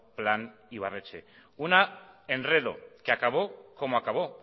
plan ibarretxe un enredo que acabó como acabó